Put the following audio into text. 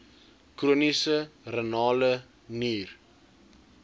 chroniese renale nier